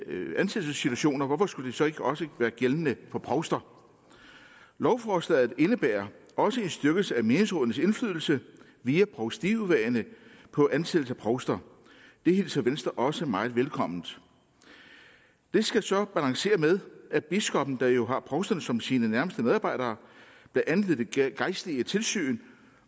ansættelsessituationer og hvorfor skulle det så ikke også være gældende for provster lovforslaget indebærer også en styrkelse af menighedsrådenes indflydelse via provstiudvalgene på ansættelsen af provster det hilser venstre også meget velkommen det skal så balanceres med at biskoppen der jo har provsterne som sine nærmeste medarbejdere blandt andet ved de gejstlige tilsyn